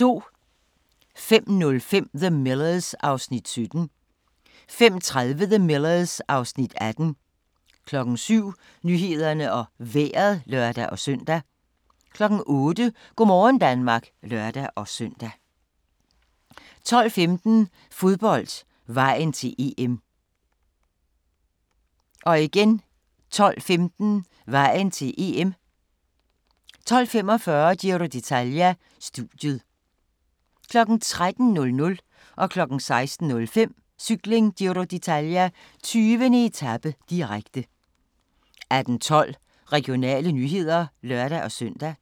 05:05: The Millers (Afs. 17) 05:30: The Millers (Afs. 18) 07:00: Nyhederne og Vejret (lør-søn) 08:00: Go' morgen Danmark (lør-søn) 12:15: Fodbold: Vejen til EM 12:15: Vejen til EM 12:45: Giro d'Italia: Studiet 13:00: Cykling: Giro d'Italia - 20. etape, direkte 16:05: Cykling: Giro d'Italia - 20. etape, direkte 18:12: Regionale nyheder (lør-søn)